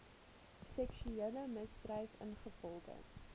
seksuele misdryf ingevolge